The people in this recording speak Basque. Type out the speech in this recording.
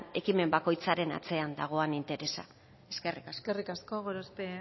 ekimen bakoitzaren atzean dagoen interesa eskerrik asko eskerrik asko gorospe